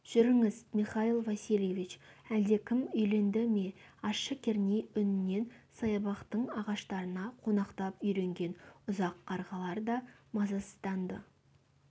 жүріңіз михаил васильевич әлдекім үйленді ме ащы керней үнінен саябақтың ағаштарына қонақтап үйренген ұзақ-қарғалар да мазасызданды